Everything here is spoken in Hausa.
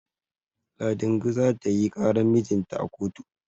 Ladingo za ta yi ƙaran mijinta a kotu.